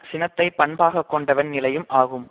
சினத்தை பண்பாகக் கொண்டவன் நிலையும் ஆகும்